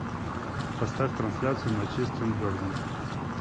поставь трансляцию манчестер бернли